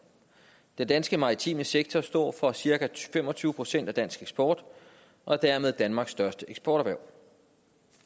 den danske maritime sektor står for cirka fem og tyve procent af dansk eksport og er dermed danmark største eksporterhverv